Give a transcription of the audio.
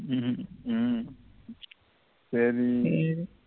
உம் சரி சரி